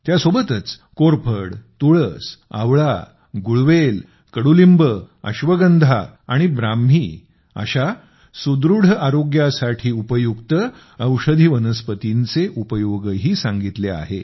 त्यासोबतच कोरफड तुळस आवळा गुळवेल कडुलिंब अश्वगंधा आणि ब्राह्मी अशा सुदृढ आरोग्यासाठी उपयुक्त औषधी वनस्पतींचे उपयोगही सांगितले आहे